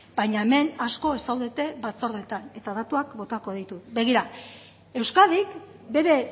baina hemen asko ez zaudete batzordeetan eta datuak botako ditut begira euskadik bere